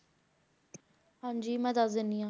ਹਾਂਜੀ ਮੈਂ ਦੱਸ ਦਿੰਦੀ ਹਾਂ।